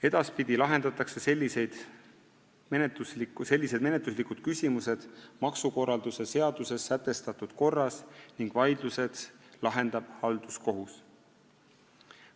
Edaspidi lahendatakse sellised menetluslikud küsimused maksukorralduse seaduses sätestatud korras ning vaidlused lahendab halduskohus.